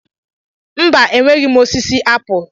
Mba, enweghị m osisi apụl.